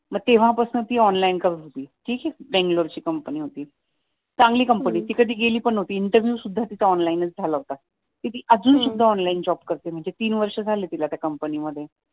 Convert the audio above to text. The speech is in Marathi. मग तेव्हापासून ती ऑनलाईन करत होती तिची बेंगलोरची कंपनी होती चांगली कंपनी होती ती कधी गेली पण न्हवती इंटरव्हिव्ह पण तिचा ऑनलाईन च झाला होता तर ती अजून सुद्धा ऑनलाईन काम करते आता तीन वर्षे झाली तिला त्या कंपनीमध्ये